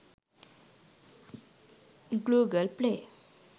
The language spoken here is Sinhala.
google play